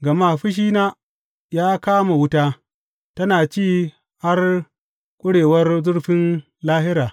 Gama fushina ya kama wuta, tana ci har ƙurewar zurfin lahira.